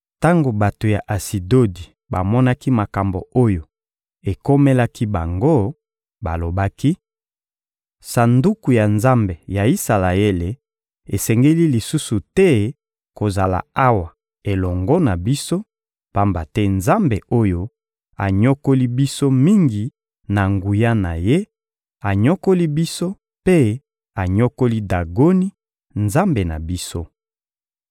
Tango bato ya Asidodi bamonaki makambo oyo ekomelaki bango, balobaki: — Sanduku ya Nzambe ya Isalaele esengeli lisusu te kozala awa elongo na biso, pamba te Nzambe oyo anyokoli biso mingi na nguya na Ye; anyokoli biso mpe anyokoli Dagoni, nzambe na biso.